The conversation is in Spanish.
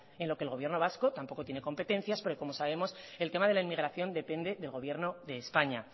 en lo que el gobierno vasco tampoco tiene competencias porque como sabemos el tema de la inmigración depende del gobierno de españa